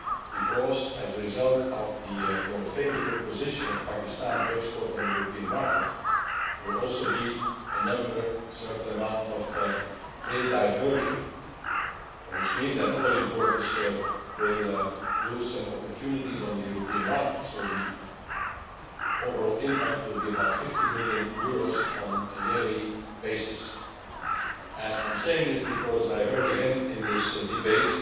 because, as a result of the more favourable position of Pakistan to export on the European market, there will also be a certain amount of trade diversion, which means that other importers will lose some opportunities on the European markets. So, the overall impact will be about EUR 50 million on a yearly basis. I am saying this because I heard again in this debate